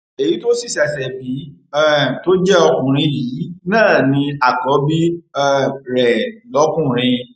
èyí tó sì ṣẹṣẹ bí um tó jẹ ọkùnrin yìí náà ni àkọbí um rẹ lọkùnrin